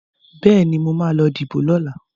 Bẹ́ẹ̀ni, mo ma lọ díbò lọ́la